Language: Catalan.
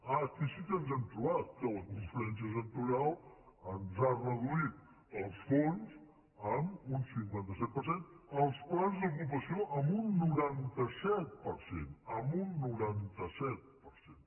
ah aquí sí que ens hem trobat que la conferència sectorial ens ha reduït els fons en un cinquanta set per cent els plans d’ocupació en un noranta set per cent en un noranta set per cent